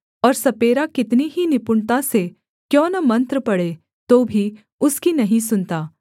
और सपेरा कितनी ही निपुणता से क्यों न मंत्र पढ़े तो भी उसकी नहीं सुनता